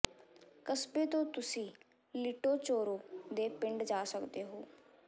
ਕਸਬੇ ਤੋਂ ਤੁਸੀਂ ਲਿਟੋਚੋਰੋ ਦੇ ਪਿੰਡ ਜਾ ਸਕਦੇ ਹੋ